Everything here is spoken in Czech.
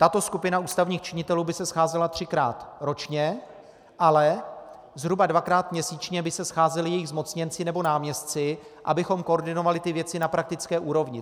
Tato skupina ústavních činitelů by se scházela třikrát ročně, ale zhruba dvakrát měsíčně by se scházeli její zmocněnci nebo náměstci, abychom koordinovali ty věci na praktické úrovni.